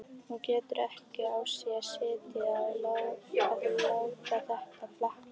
Hún getur ekki á sér setið að láta þetta flakka.